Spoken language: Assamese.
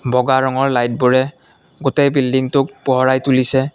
বগা ৰঙৰ লাইটবোৰে গোটেই বিল্ডিংটোক পোহৰাই তুলিছে।